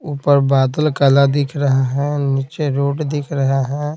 ऊपर बादल काला दिख रहा है नीचे रोड दिख रहा है।